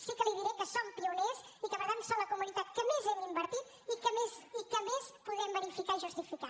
sí que li diré que som pioners i que per tant som la comunitat que més hem invertit i que més podrem verificar i justificar